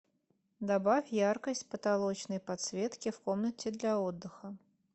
добавь яркость потолочной подсветки в комнате для отдыха